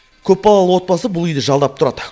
көпбалалы отбасы бұл үйді жалдап тұрады